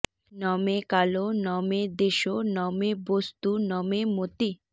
ন মে কালো ন মে দেশো ন মে বস্তু ন মে মতিঃ